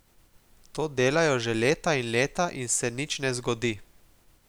To delajo že leta in leta in se nič ne zgodi.